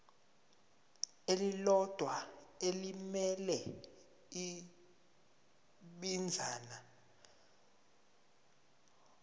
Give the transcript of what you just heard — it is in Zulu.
elilodwa elimele ibinzana